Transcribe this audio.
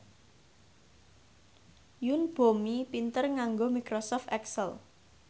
Yoon Bomi pinter nganggo microsoft excel